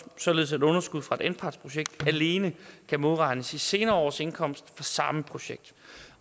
således at underskud fra et anpartsprojekt alene kan modregnes i senere års indkomst fra samme projekt